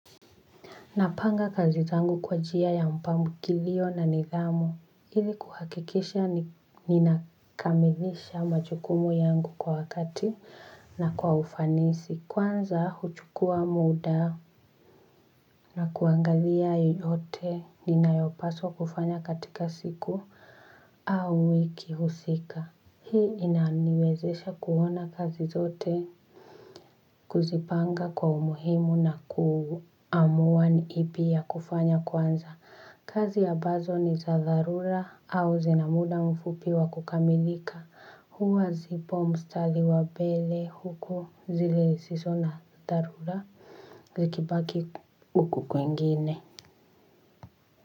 Napanga kazi zangu kwa njia ya mpangilio na nidhamu. Ili kuhakikisha ninakamilisha majukumu yangu kwa wakati na kwa ufanisi. Kwanza huchukua muda na kuangalia yeyote ninayopaswa kufanya katika siku au wiki husika. Hii inaniwezesha kuona kazi zote kuzipanga kwa umuhimu na kuamua ni ipi ya kufanya kwanza. Kazi ambazo ni za dharura au zina muda mfupi wa kukamilika huwa zipo mstari wa mbele huku zisizo na dharura hubaki huku kwingine.